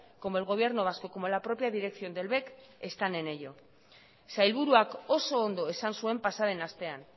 como el gobierno vasco como la propia dirección del bec están en ello sailburuak oso ondo esan zuen pasa den astean